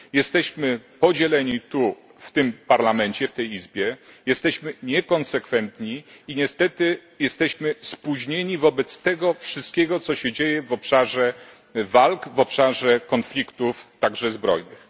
Jesteśmy podzieleni w tym Parlamencie, w tej Izbie, jesteśmy niekonsekwentni i niestety jesteśmy spóźnieni wobec tego wszystkiego, co się dzieje w obszarze walk, w obszarze konfliktów, także zbrojnych.